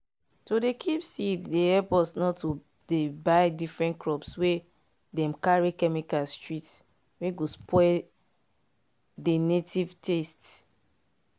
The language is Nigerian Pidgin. to dey kip seeds dey help us not to dey buy different crops wey dem carry chemicals treat wey go spoil dey native taste.